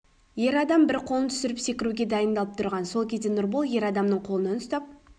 ер адам бір қолын түсіріп секіруге дайындалып тұрған сол кезде нұрбол ер адамның қолынан ұстап